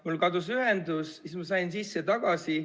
Mul kadus ühendus ja siis ma sain sisse tagasi.